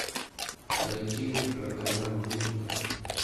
найти роковая музыка